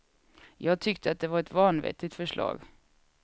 Jag tyckte att det var ett vanvettigt förslag.